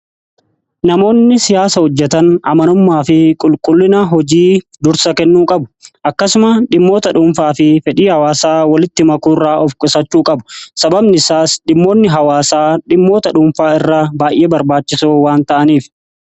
Namoonni siyaasa hojjetan amanummaa fi qulqullina hojii dursa kennuu qabu akkasuma dhimmoota dhuunfaa fi fedhii hawaasaa walitti makuu irraa of qusachuu qabu. Sababni isaas dhimmoonni hawaasaa dhimmoota dhuunfaa irra baay'ee barbaachisu waan ta'aniif